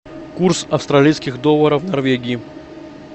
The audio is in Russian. курс австралийских долларов в норвегии